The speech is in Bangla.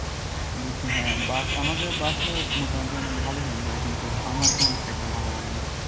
বুঝছি হ্যাঁ। আমাদের বাসায় ও মোটামুটি অনেক ভালোই রান্না হয়। আমার তেমন খাইতে ভালো লাগে না।